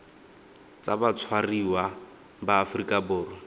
tsa batshwariwa ba aforika borwa